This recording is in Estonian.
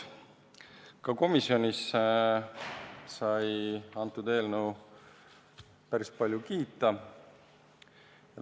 Komisjonis sai eelnõu päris palju kiita.